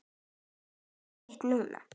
Ekki einmitt núna.